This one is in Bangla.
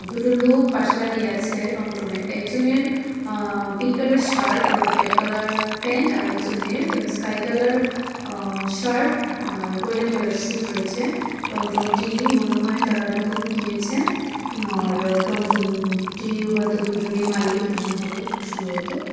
দুটো লুক পাশে দাঁড়িয়ে আছে টমটমের একজনের আ পিংক কালারের শার্ট ওর ব্ল্যাক কালার প্যান্ট আরেকজনের স্কাই কালার আ শার্ট আর গোল্ডেন কালারের সুট রয়েছে টমটমটি মনে হয় তারা নতুন কিনেছে আর টমটমটির হয়তো দুজনেই মালিক এমন হবে খুব সম্ভবত।